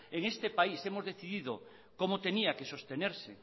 en este país que hemos decidido cómo tenía que sostenerse